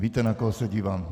Víte, na koho se dívám.